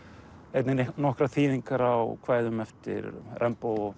einnig nokkrar þýðingar á kvæðum eftir